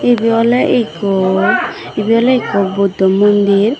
ibe ole ikko ibe ole ikko buddo mondir.